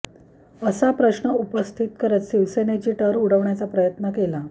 असा प्रश्न उपस्थित करत शिवसेनेची टर उडवण्याचा प्रयत्न केला